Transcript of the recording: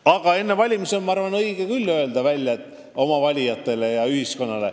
Aga enne valimisi on muidugi õige valijatele ja üldse ühiskonnale oma arvamus öelda.